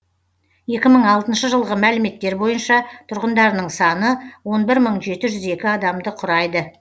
екі мың алтыншы жылғы мәліметтер бойынша тұрғындарының саны он бір мың жеті жүз екі адамды құрайды